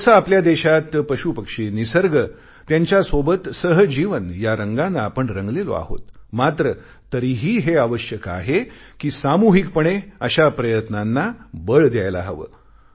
तसे आपल्या देशात पशुपक्षी निसर्ग त्यांच्यासोबत सहजीवन या रंगाने आपण रंगलेलो आहोत मात्र तरीही हे आवश्यक आहे कि सामूहिकपणे अशा प्रयत्नांना बळ द्यायला हवे